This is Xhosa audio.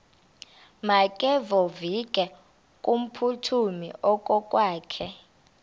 makevovike kumphuthumi okokwakhe